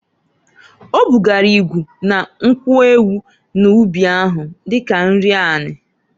O bugara ịgụ na nkwu ewu n'ụbị ahụ, dika nri ani.